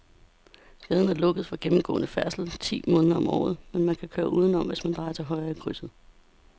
Gaden er lukket for gennemgående færdsel ti måneder om året, men man kan køre udenom, hvis man drejer til højre i krydset.